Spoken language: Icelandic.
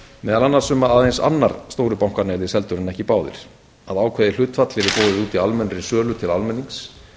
meðal annars um að aðeins annar stóru bankanna yrði seldur en ekki báðir að ákveðið hlutfall yrði boðið út í almennri sölu til almennings